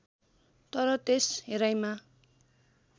तर त्यस हेराइमा